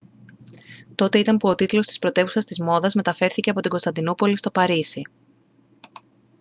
τότε ήταν που ο τίτλος της πρωτεύουσας της μόδας μεταφέρθηκε από την κωνσταντινούπολη στο παρίσι